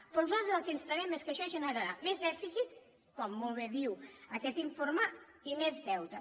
però nosaltres el que ens temem és que això generarà més dèficit com molt bé diu aquest informe i més deute